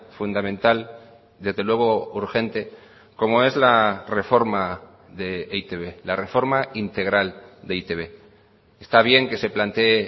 fundamental desde luego urgente como es la reforma de e i te be la reforma integral de e i te be está bien que se plantee